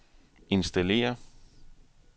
installere